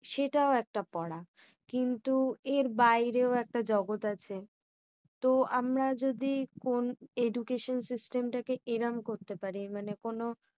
সেটাও একটা পড়া। কিন্তু এর বাইরেও একটা জগৎ আছে। তো আমরা যদি এখন education system টা কে এইরম করতে পারি। মানে কোনো